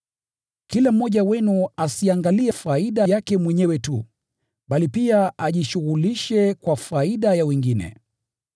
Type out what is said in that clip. Kila mmoja wenu asiangalie faida yake mwenyewe tu, bali pia ajishughulishe kwa faida ya wengine.